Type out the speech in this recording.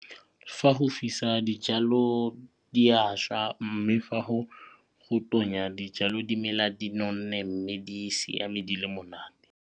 Fa go fisa dijalo di a šwa mme fa go tonya dijalo di mela di nonne mme di siame di le monate.